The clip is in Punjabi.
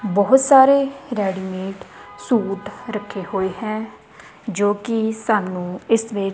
ਬਹੁਤ ਸਾਰੇ ਰੈਡੀਮੇਡ ਸੂਟ ਰੱਖੇ ਹੋਏ ਹੈ ਜੋ ਕਿ ਸਾਨੂੰ ਇਸ ਵਿੱਚ --